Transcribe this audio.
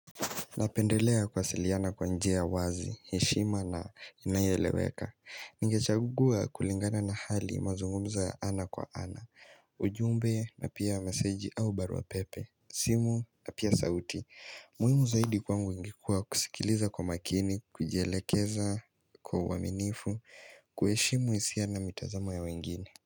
Napendelea kuwasiliana kwa njia wazi, heshima na inayoeleweka ningechagua kulingana na hali mazungumzo ya ana kwa ana ujumbe na pia meseji au baruapepe simu na pia sauti muhimu zaidi kwangu ingekuwa kusikiliza kwa makini, kujielekeza kwa uwaminifu kuheshimu hisia na mitazama ya wengine.